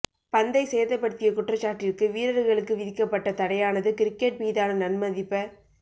பந்தை சேதப்படுத்திய குற்றச்சாட்டிற்கு வீரர்களுக்கு விதிக்கப்பட்ட தடையானது கிரிக்கெட் மீதான நன்மதிப்ப